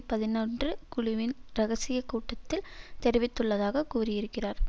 பதினொன்று குழுவின் இரகசிய கூட்டத்தில் தெரிவித்துள்ளதாக கூறியிருக்கிறார்